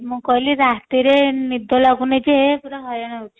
ମୁଁ କହିଲି ରାତିରେ ନିଦ ଲାଗୁନି ଯେ ପୁରା ହଇରାଣ ହଉଛି